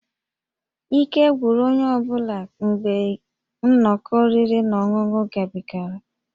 Ike gwụrụ onye ọ bụla mgbe nnọkọ oriri na ọṅụṅụ gabigara